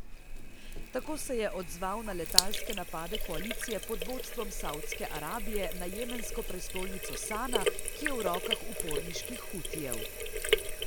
Tako se je odzval na letalske napade koalicije pod vodstvom Savdske Arabije na jemensko prestolnico Sana, ki je v rokah uporniških Hutijev.